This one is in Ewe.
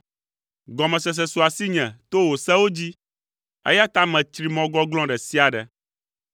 Gɔmesese su asinye to wò sewo dzi, eya ta metsri mɔ gɔglɔ̃ ɖe sia ɖe.